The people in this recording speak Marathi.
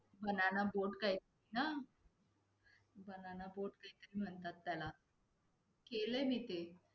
Banana boat काही Banana boat काहीतरी म्हणतात त्याला, केलय मी ते.